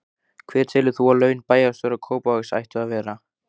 Hver telur þú að laun bæjarstjóra Kópavogs ættu að vera?